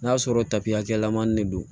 N'a sɔrɔ tapiy'a kɛyɛlɛmani de don